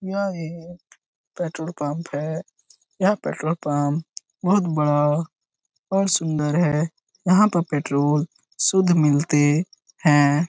यह एक petrol pump है यह पेट्रोल पंप बहुत बड़ा और सुंदर है यहाँ पर पेट्रोल शुद्ध मिलते है।